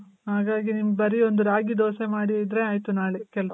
ಹಾಗಾಗಿ ನಿಮ್ದು ಬರಿ ಒಂದು ರಾಗಿ ದೋಸೆ ಮಾಡಿ ಹೋದ್ರೆ ಆಯ್ತು ನಾಳೆ ಕೆಲ್ಸ.